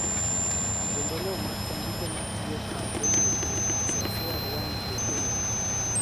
kendo ne omaki jandiko matiyo kar kende owuon, Sophia Huang Xueqin